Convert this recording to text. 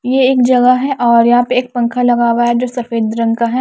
ये एक जगह है और यहां पे एक पंखा लगा हुआ है जो सफेद रंग का है।